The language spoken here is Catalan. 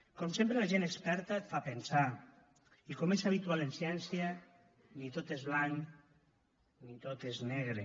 com sempre la gent experta et fa pensar i com és habitual en ciència ni tot és blanc ni tot és negre